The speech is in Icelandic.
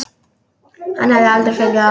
Hann hefði aldrei fengið það.